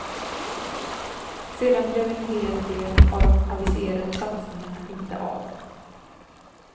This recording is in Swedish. Sedan blev en hel del av de aviserade satsningarna inte av.